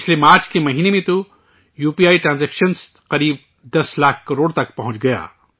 پچھلے مارچ کے مہینے میں تو یو پی آئی ٹرانزیکشن تقریباً 10 لاکھ کروڑ روپے تک پہنچ گیا